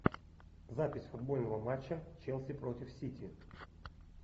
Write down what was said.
запись футбольного матча челси против сити